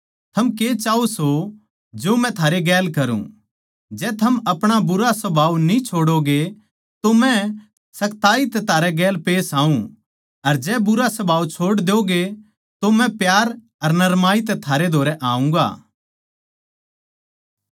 थम के चाहो सों जो मै थारे गेल करुँ जै थम अपणा बुरा सुभाव न्ही छोड़ोगे तो मै सखताई तै थारै गैल पेश आऊँ अर जै बुरा सुभाव छोड़ द्योगे तो मै प्यार अर नरमाई तै थारै धोरै आऊँगा